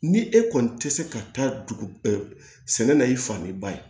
Ni e kɔni tɛ se ka taa dugu sɛnɛ na i fan min ba ye